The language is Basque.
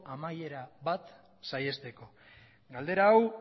amaiera saihesteko galdera hau